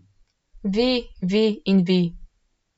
Vi, vi in vi.